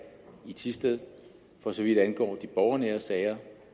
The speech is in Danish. i thisted for så vidt angår de borgernære sager og